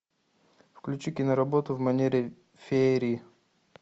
включи киноработу в манере феерии